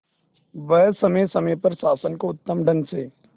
वह समय समय पर शासन को उत्तम ढंग से